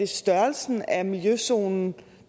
størrelsen af miljøzonen